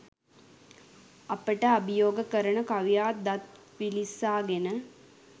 අපට අභියෝග කරන කවියා දත් විලිස්සාගෙන